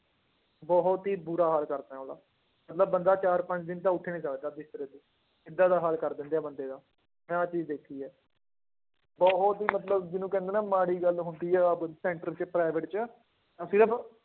ਬਹੁਤ ਹੀ ਬੁਰਾ ਹਾਲ ਕਰਦੇ ਆ ਉਹਦਾ, ਮਤਲਬ ਬੰਦਾ ਚਾਰ ਪੰਜ ਦਿਨ ਤਾਂ ਉੱਠ ਹੀ ਨੀ ਸਕਦਾ ਬਿਸਤਰੇ ਤੋਂ ਏਦਾਂ ਦਾ ਹਾਲ ਕਰ ਦਿੰਦੇ ਆ ਬੰਦੇ ਦਾ, ਮੈਂ ਆਹ ਚੀਜ਼ ਦੇਖੀ ਹੈ, ਉਹ, ਉਹ ਚੀਜ਼ ਮਤਲਬ ਜਿਹਨੂੰ ਕਹਿੰਦੇ ਨਾ ਮਾੜੀ ਗੱਲ ਹੁੰਦੀ ਆ center ਚ private ਚ